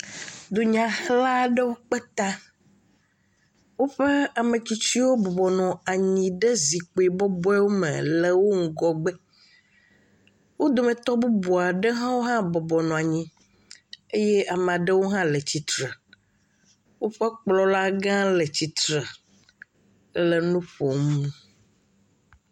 Dunyahela aɖewo kpe ta, woƒe ame tsitsiwo bɔbɔ nɔ anyi ɖe zikpui bɔbɔwo me le wo ŋgɔgbe. Wo dometɔ bubu aɖewo hã bɔbɔ nɔ anyi eye ame aɖewo hã le tsitre, woƒe kplɔla gã le tsitre ele nu ƒom.